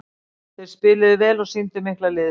Þeir spiluðu vel og sýndu mikla liðsheild.